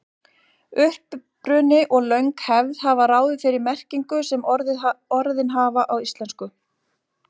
Uppruni og löng hefð hafa ráðið þeirri merkingu sem orðin hafa í íslensku.